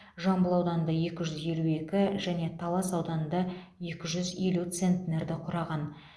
жамбыл ауданында екі жүз елу екі және талас ауданында екі жүз елу центнерді құраған